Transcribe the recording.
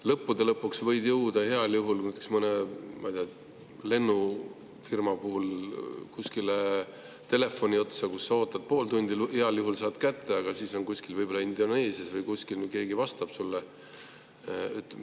Lõppude lõpuks võid jõuda heal juhul, näiteks mõne lennufirma puhul, kuskile telefoni otsa, kus sa ootad pool tundi, heal juhul saad ka kätte, aga siis see keegi vastab sulle võib-olla Indoneesias või kuskil.